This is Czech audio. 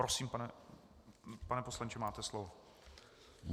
Prosím, pane poslanče, máte slovo.